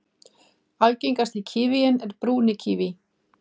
Algengasti kívíinn er brúni kíví.